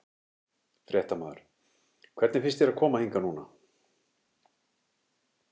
Fréttamaður: Hvernig finnst þér að koma hingað núna?